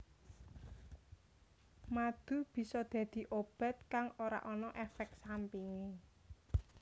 Madu bisa dadi obat kang ora ana éfék sampingé